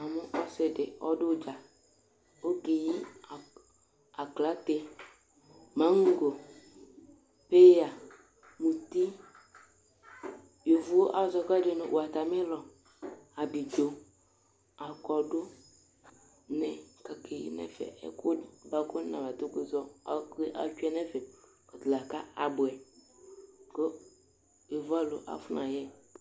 Ɛmɛ ɔsɩ dɩ ɔdʋ udza, okeyi aklate, maŋgɔ, peyǝ, mʋti, yovo azɔ ɛkʋ ɛdɩ nʋ watamɩlɔnɩ, abidzo, akɔdʋ Ɛkʋ wa atsʋe nʋ ɛfɛ lakʋ abʋɛ, kʋ yovoalʋ akɔnayɛ